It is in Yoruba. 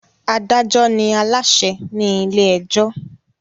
Adájọ́ ni Aláṣẹ ni ilé ẹjọ́